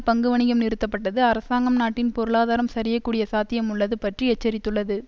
பங்கு வணிகம் நிறுத்தப்பட்டது அரசாங்கம் நாட்டின் பொருளாதாரம் சரியக்கூடிய சாத்தியம் உள்ளது பற்றி எச்சரித்துள்ளது